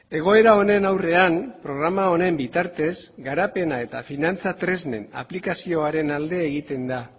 egoera honen aurrean programa honen bitartez garapena eta finantza tresnen aplikazioaren alde egiten da